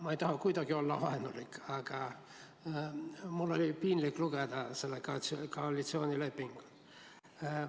Ma ei taha kuidagi olla vaenulik, aga mul oli piinlik lugeda koalitsioonilepingut.